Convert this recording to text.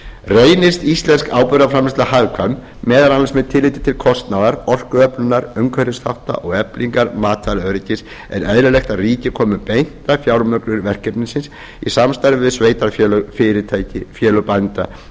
reynist íslensk áburðarframleiðsla hagkvæm meðal annars með tilliti til kostnaðar orkuöflunar umhverfisþátta og eflingar matvælaöryggis er eðlilegt að ríkið komi beint að fjármögnun verkefnisins í samstarfi við sveitarfélög fyrirtæki og félög bænda